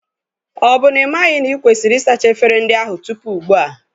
Ọ bụ n'ịmaghị na ikwesịrị ịsacha efere ndị ahụ tupu ugbua?